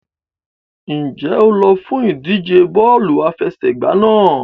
Ǹjẹ́ o lọ fún ìdíje bọ́ọ̀lù àfẹsẹ̀gbá náà?